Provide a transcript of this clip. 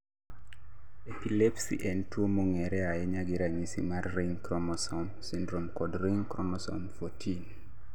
Epilepsy en tuo mong'ere ahinya gi ranyisi mar ring chromosome syndrome kod ring chromosome 14